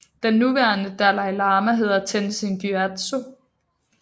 Den nuværende Dalai Lama hedder Tenzin Gyatso